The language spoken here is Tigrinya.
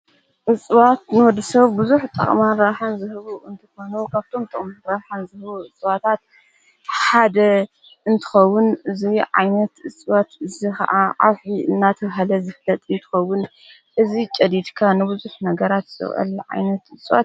እፅዋት ንወዲ ሰብ ብዙሕ ጠቕማን ራብሓን ዘህቡ እንተኾነዉ፣ ካብቶም ጥቕሚን ራኃን ዘህቡ እፅዋታት ሓደ እንትኸዉን እዙይ ዓይነት እጽዋት ዝ ኸዓ ኣውሒ እናተባሃለ ዘፍለጥ ይትኸውን እዙይ ጨዲድካ ንብዙኅ ነገራት ጽውዕል ዓይነት እጽዋት።